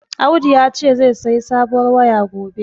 Audu yace zai sayi sabuwar waya gobe.